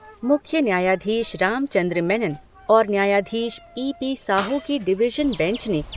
मुख्य न्यायाधीश रामचंद्र मेनन और न्यायाधीश पी पी साहू की डिविशन बेंच ने